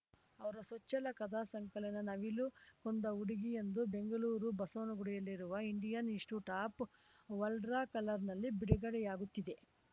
ಅವರ ಸೊಚ್ಛಲ ಕಥಾ ಸಂಕಲನ ನವಿಲು ಕೊಂದ ಹುಡುಗಿ ಎಂದು ಬೆಂಗಳೂರು ಬಸವನಗುಡಿಯಲ್ಲಿರುವ Indian institute of world culture ನಲ್ಲಿ ಬಿಡುಗಡೆಯಾಗುತ್ತಿದೆ